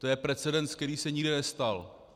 To je precedens, který se nikde nestal.